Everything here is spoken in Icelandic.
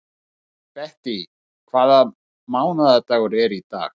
Bettý, hvaða mánaðardagur er í dag?